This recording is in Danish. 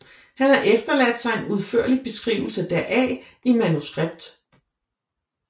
Han har efterladt sig en udførlig beskrivelse deraf i manuskript